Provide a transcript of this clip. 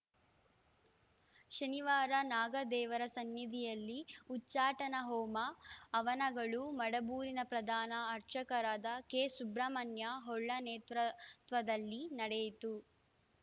ಶನಿವಾರ ನಾಗ ದೇವರ ಸನ್ನಿಧಿಯಲ್ಲಿ ಉಚ್ಛಾಟನಾ ಹೋಮ ಹವನಗಳು ಮಡಬೂರಿನ ಪ್ರಧಾನ ಅರ್ಚಕರಾದ ಕೆಸುಬ್ರಮಣ್ಯ ಹೊಳ್ಳ ನೇತೃತ್ವದಲ್ಲಿ ನಡೆಯಿತು